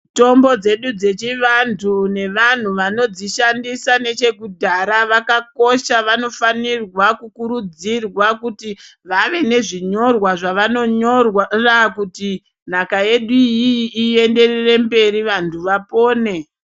Mitombo dzedu dzechiantu nevanoshandisa nechekudhaya yakakosha vanofanirwa kukurudzirwa kuti vave nezvinyorwa zvavanonyora kuti nhaka yedu iyiyi iendere mberi vantu vapone.